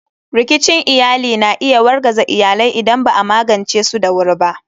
Rikicin iyali na iya wargaza iyalai idan ba a magance su da wuri ba.